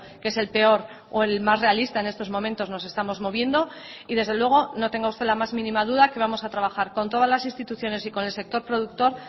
que es el peor o el más realista en estos momentos nos estamos moviendo y desde luego no tenga usted la más mínima duda que vamos a trabajar con todas las instituciones y con el sector productor